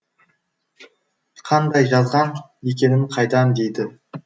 қандай жазған екенін қайдан дейді